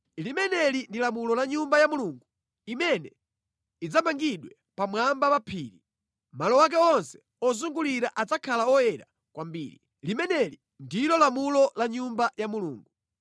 “Limeneli ndi lamulo la Nyumba ya Mulungu imene idzamangidwe pamwamba pa phiri. Malo ake onse ozungulira adzakhala oyera kwambiri. Limeneli ndilo lamulo la Nyumba ya Mulungu.